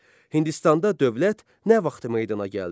Hindistanda dövlət nə vaxt meydana gəldi?